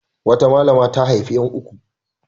Wata malama ya haifi ƴan uku.